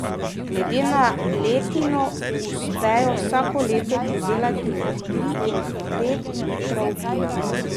Glede na letino uspejo vsako leto pridelati med tri in pet litrov vina.